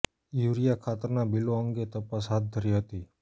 urea ખાતરના બીલો અંગે તપાસ હાથ ધરી હતી